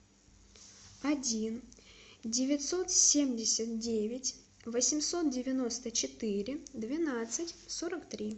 один девятьсот семьдесят девять восемьсот девяносто четыре двенадцать сорок три